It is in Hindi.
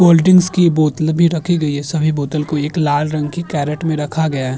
कोल्ड ड्रिंक्स की बोत्तले भी रखी गई हैं। सभी बोतल को एक लाल रंग की कैरट में रखा गया है।